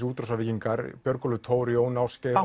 útrásarvíkingarnir Björgúlfur Thor Jón Ásgeir